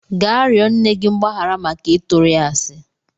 Gaa rịọ nne gị mgbaghara maka ịtụrụ ya asị!